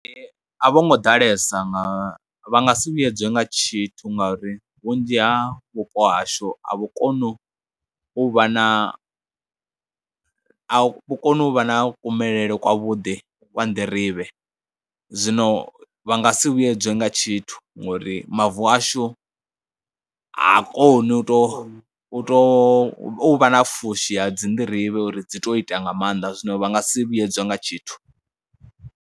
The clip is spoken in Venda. A vho ngo ḓalesa nga, vha nga si vhuyedze nga tshithu ngauri vhunzhi ha vhupo hashu a vhukoni u vha na, a vhu koni u vha na kumele kwavhuḓi kwa nḓirivhe, zwino vha nga si vhuyedzwe nga tshithu ngori mavu ashu ha koni u tou u tou u vha na pfhushi ya dzi nḓirivhe uri dzi tou ita nga maanḓa, zwino vha nga si vhuyedzwe nga tshithu.